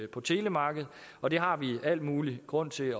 på telemarkedet og det har vi al mulig grund til